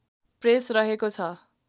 press रहेको छ